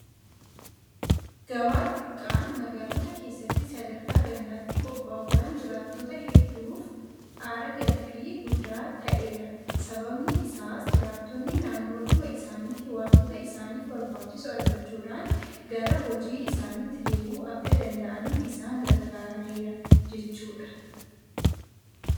Gabaa xixiqqaan magaalota keessatti sadarkaa gandaatti qophaa'uudhaan jiraattota hedduuf aara galfii guddaa ta'eera. Sababni isaas jiraattonni naannoodhuma isaaniitti waantota isaaniif barbaachisu argachuudhaan gara hojii isaaniitti deebi'uu akka danda'aniif isaan gargaareera jechuudha.